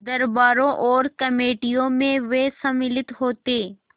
दरबारों और कमेटियों में वे सम्मिलित होते